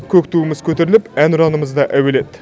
көк туымыз көтеріліп әнұранымыз да әуеледі